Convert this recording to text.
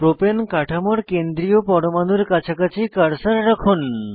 propane কাঠামোর কেন্দ্রীয় পরমাণুর কাছাকাছি কার্সার রাখুন